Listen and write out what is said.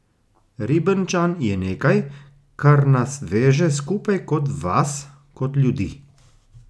Ribnčan je nekaj, kar nas veže skupaj kot vas, kot ljudi.